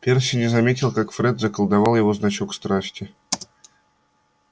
перси не заметил как фред заколдовал его значок страсти